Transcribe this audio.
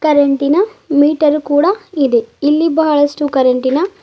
ಕರೆಂಟಿನ ಮೀಟರ್ ಕೂಡ ಇದೆ ಇಲ್ಲಿ ಬಹಳಷ್ಟು ಕರೆಂಟಿನ--